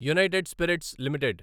United spirits limited